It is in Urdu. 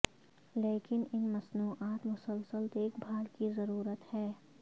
لیکن ان مصنوعات مسلسل دیکھ بھال کی ضرورت ہے